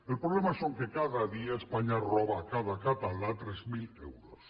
el problema és que cada any espanya roba a cada català tres mil euros